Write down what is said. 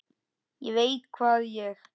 ÉG VEIT HVAÐ ÉG